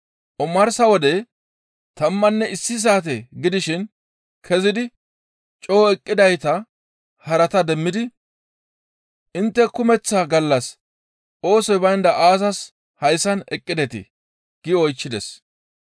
Omarsa wode tammanne issi saate gidishin kezidi coo eqqidayta harata demmidi, ‹Intte kumeththa gallas oosoy baynda aazas hayssan eqqidetii?› gi oychchides.